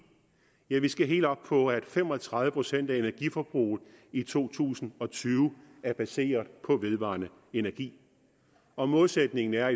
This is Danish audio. ja vi skal helt op på at fem og tredive procent af energiforbruget i to tusind og tyve er baseret på vedvarende energi og målsætningen er